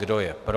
Kdo je pro?